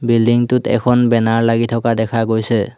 Building টোত এখন banner লাগি থকা দেখা গৈছে।